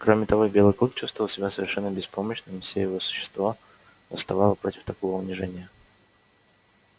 кроме того белый клык чувствовал себя совершенно беспомощным и все его существо восставало против такого унижения